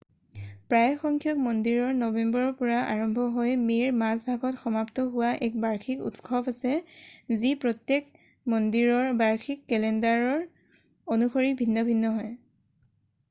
প্ৰায়সংখ্যক মন্দিৰৰ নৱেম্বৰৰ পৰা আৰম্ভ হৈ মে'ৰ মাজভাগত সমাপ্ত হোৱা এক বাৰ্ষিক উৎসৱ আছে যি প্ৰত্যেক মন্দিৰৰ বাৰ্ষিক কেলেণ্ডাৰৰ অনুসৰি ভিন্ন হয়৷